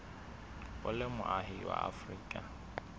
o le moahi wa afrika